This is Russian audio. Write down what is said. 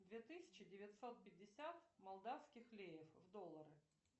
две тысячи девятьсот пятьдесят молдавских леев в доллары